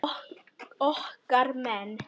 Okkar menn